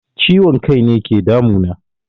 Ciwon kaine ke damu na